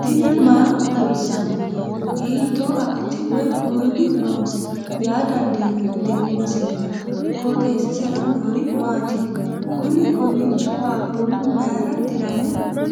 tini maa xawissanno ? hiitto akati woy kuuli noose yaa dandiinanni tenne misilera? qooxeessisera noori maati? kuni kowiicho qaaqqullu mayra dirame